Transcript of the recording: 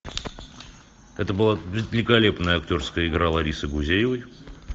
это была великолепная актерская игра ларисы гузеевой